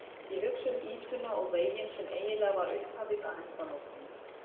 Ég hugsa um ýtuna og veginn sem eiginlega var upphafið að endalokunum.